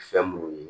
Fɛn munnu ye